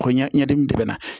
Ko ɲɛdimi de bɛ na